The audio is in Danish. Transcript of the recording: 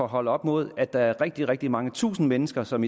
holde op imod at der er rigtig rigtig mange tusind mennesker som